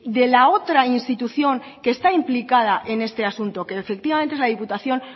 de la otra institución que está implicada en este asunto que efectivamente es la diputación